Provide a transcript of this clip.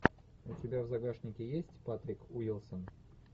у тебя в загашнике есть патрик уилсон